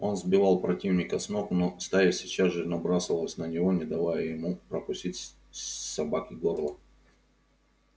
он сбивал противника с ног но стая сейчас же набрасывалась на него не давая ему прокусить собаке горло